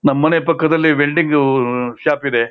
ನಮ್ಮನೆ ಪಕ್ಕದಲ್ಲಿ welding shop ಉಂ ಇದೆ.